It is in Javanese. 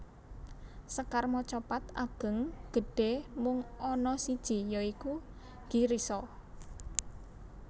Sekar macapat Ageng gedhé mung ana siji ya iku Girisa